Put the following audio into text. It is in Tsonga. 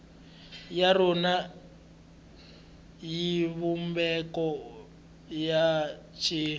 ya rona xivumbeko xa xitshuriwa